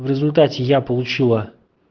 в результате я получила